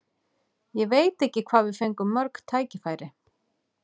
Ég veit ekki hvað við fengum mörg tækifæri.